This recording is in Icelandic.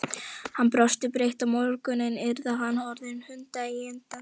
Hann brosti breitt: Á morgun yrði hann orðinn hundeigandi!